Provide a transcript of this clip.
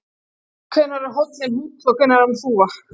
hvenær er hóllinn hóll og hvenær er hann þúfa